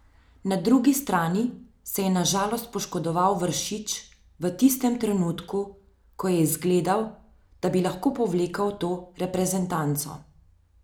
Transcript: Na drugi strani se je na žalost poškodoval Vršič v tistem trenutku, ko je izgledal, da bi lahko povlekel to reprezentanco.